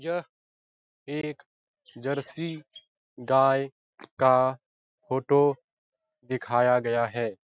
यह एक जर्सी गाय का फोटो दिखाया गया है।